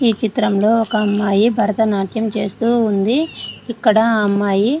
ఈ చిత్రంలో ఒక అమ్మాయి భరతనాట్యం చేస్తూ ఉంది. ఇక్కడ ఆ అమ్మాయి --